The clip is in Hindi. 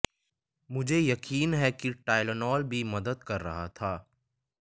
मुझे यकीन है कि टायलोनोल भी मदद कर रहा था